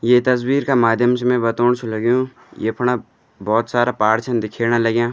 ये तस्वीर का माध्यम से मैं बतौण छ लग्युं यफुणा बहोत सारा पहाड़ छन दिखेण लग्यां।